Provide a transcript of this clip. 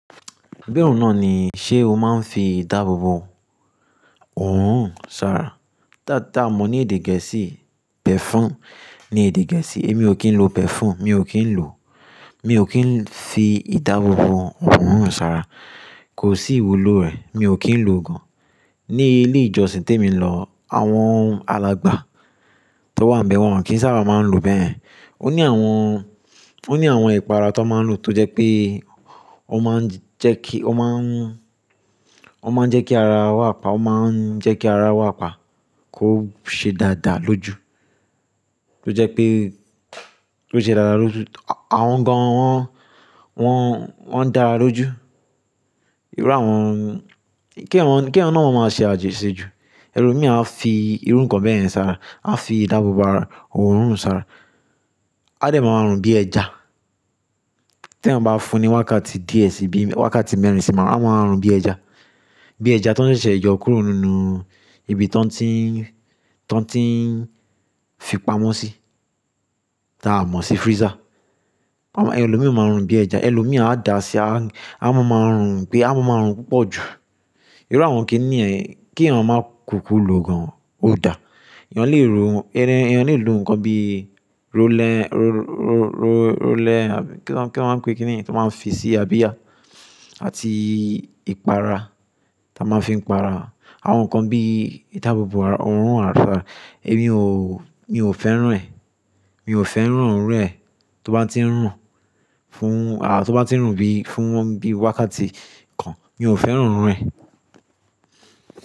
Bí òun náà ni, ṣé o máa ń fi ìdáàbòbò òórùn hàn sára? Tá-tà mo ní èdè gẹ̀ẹ́sì, perfume ní èdè gẹ̀ẹ́sì. Èmi ò kí ń lo perfume, mi ò kí ń lò, mi ò kí ń fi ìdáàbòbò òórùn hàn sára. Kò sí ìwúlò rẹ̀, mi ò kí ń lò gan. Ní ilé ìjọsìn tí èmi lọ, àwọn alàgbà tó wà níbẹ̀ wọn kì í sábà máa ń lo bẹ́yẹ̀n. Ó ní àwọn, ó ní àwọn ìpara tó máa ń lò tó jẹ́ pé ó máa ń jẹ́ kí, ó máa ń, ó máa ń jẹ́ kí ara wà pa, ó máa ń jẹ́ kí ara wà pa kó ṣe dáadáa lójú. Tó jẹ́ pé kó ṣe dáadáa lójú. Àwọn gan wọ́n, wọ́n dáa lójú. Irú àwọn, kí èèyàn, kí èèyàn náà má ma ṣe àjèṣẹ́ ju. Ẹlò míì á fi irú nǹkan bẹ́yẹ̀n sára, á fi ìdáàbòbò ara òórùn sára. A dẹ̀ máa rùn bí ẹja tí èèyàn bá fún ní wákàtí díẹ̀ sí ibi, wákàtí mẹ́rin sí márùn-ún, a máa rùn bí ẹja. Bí ẹja tó ń ṣẹ̀ṣẹ̀ yọ kúrò nínú ibi tó ń tí, tó ń tí ń fi pamọ́ sí, tá a mọ̀ sí freezer. Amọ́, ẹlò míì máa rùn bí ẹja. Ẹlò míì á da sí, a máa ma rùn pé, a máa ma rùn púpọ̀ jù. Irú àwọn kíní ẹ, kí èèyàn máa kúkú lò gan. Ó dà. Èèyán lè ro, ẹran, èèyàn lè lò nǹkan bí roller, ro-ro-ro-roller, kí wọn, kí wọn máa ń pe kíní yẹn tó máa ń fi sí abiyá àti ìpara, tá a máa ń fi para. Àwọn nǹkan bí ìdáàbòbò ara, òórùn àrà. Èmi ò, mi ò fẹ́ràn rẹ̀. Mi ò fẹ́ràn òórùn rẹ̀. Tó bá tí ń rùn fún, à, tó bá tí ń rùn bí, fún wọ́n bí wákàtí kan, mi ò fẹ́ràn òórùn rẹ̀.